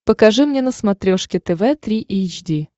покажи мне на смотрешке тв три эйч ди